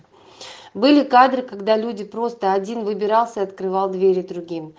были кадры когда люди просто один выбирался открывал двери другим